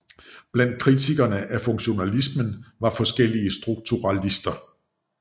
Blandt kritikerne af funktionalismen var forskellige strukturalister